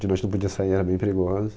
De noite não podia sair, era bem perigoso.